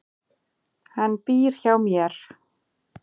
Hann býr hjá mér.